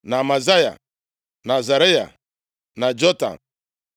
na Amazaya, na Azaraya, na Jotam,